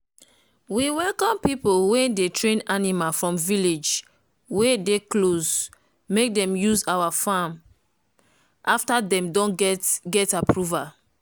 we welcome people wey dey train animal from village wey dey close make dem use our farm after dem don go get approval